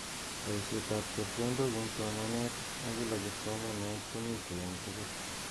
Baishet ab chepkondok ing somanet ak kila kipsomaniat komitei eng tugul.